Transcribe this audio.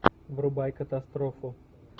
врубай катастрофу